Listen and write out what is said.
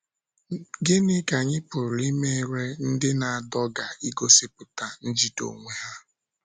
Gịnị ka anyị pụrụ imere ndị na - adọga igosipụta njide onwe ha?